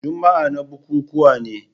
Juma'a na bukukuwa ne.